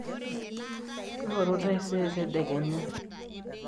ingoru taisere tedekenya